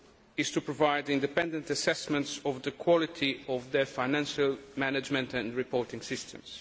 is to provide independent assessments of the quality of their financial management and reporting systems.